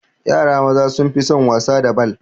Yara maza sun fi son wasa da bal